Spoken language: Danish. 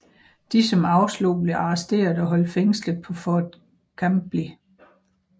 De som afslog blev arresteret og holdt fængslet på Fort Chambly